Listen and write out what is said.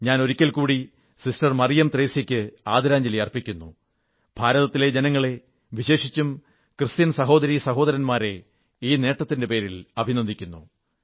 ഞാൻ ഒരിക്കൽകൂടി സിസ്റ്റർ മറിയം ത്രേസ്യയ്ക്ക് ആദരാഞ്ജലി അർപ്പിക്കുന്നു ഭാരതത്തിലെ ജനങ്ങളെ വിശേഷിച്ചും ക്രിസ്ത്യൻ സഹോദരീ സഹോദരന്മാരെ ഈ നേട്ടത്തിന്റെ പേരിൽ അഭിനന്ദിക്കുന്നു